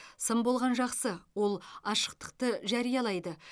сын болған жақсы ол ашықтықты жариялайды